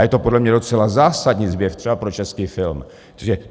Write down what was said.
A je to podle mě docela zásadní zvěst třeba pro český film.